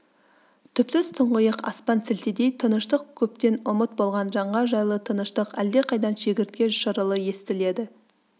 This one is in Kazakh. түпсіз тұңғиық аспан сілтідей тыныштық көптен ұмыт болған жанға жайлы тыныштық әлдеқайдан шегіртке шырылы естіледі